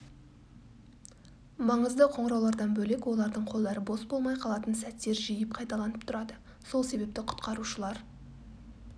маңызды қоңыраулардан бөлек олардың қолдары бос болмай қалатын сәттер жиі қайталанып тұрады сол себепті құтқарушылар